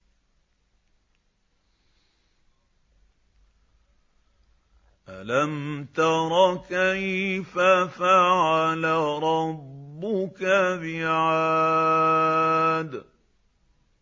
أَلَمْ تَرَ كَيْفَ فَعَلَ رَبُّكَ بِعَادٍ